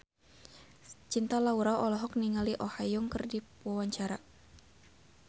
Cinta Laura olohok ningali Oh Ha Young keur diwawancara